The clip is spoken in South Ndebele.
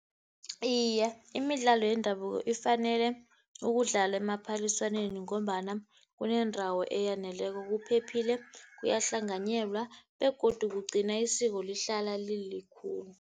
Iye, imidlalo yendabuko ifanele ukudlalwa emaphaliswaneni, ngombana kuneendawo eyaneleko, kuphephile, kuyahlanganyelwa begodu kugcina isiko lihlala lilikhulu.